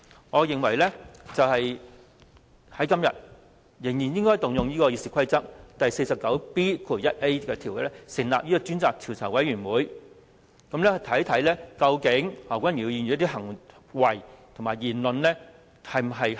我認為今天仍然應該引用《議事規則》第 49B 條，成立專責調查委員會，看看何君堯議員的行為和言論是否恰當。